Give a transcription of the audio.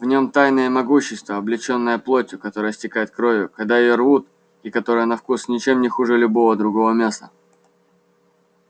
в нем тайна и могущество облечённые плотью которая истекает кровью когда её рвут и которая на вкус ничем не хуже любого другого мяса